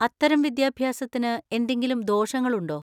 അത്തരം വിദ്യാഭ്യാസത്തിന് എന്തെങ്കിലും ദോഷങ്ങളുണ്ടോ?